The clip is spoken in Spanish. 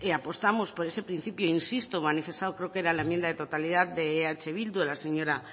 apostamos por ese principio manifestado creo que era en la enmienda de totalidad de eh bildu de la señora